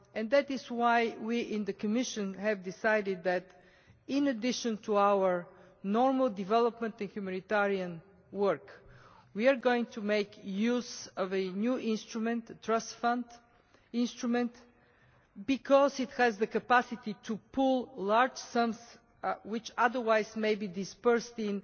That is why we in the Commission have decided that, in addition to our normal development and humanitarian work, we are going to make use of the new Trust Fund instrument, because this has the capacity to pool large sums which otherwise may be dispersed in